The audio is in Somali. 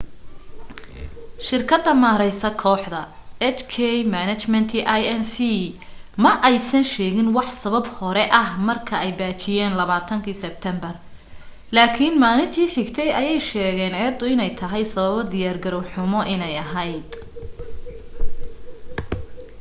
shirkada maareysa kooxda hk management inc ma aysan sheegin wax sabab hore ah marka ay baajiyen 20 sibteembar laakin maalinti xigtay ayee sheegen eeda ine tahay sababo diyaar garow xumo ine aheyd